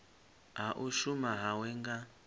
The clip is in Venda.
ha u shuma hawe nga